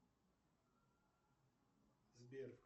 сбер